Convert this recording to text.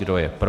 Kdo je pro?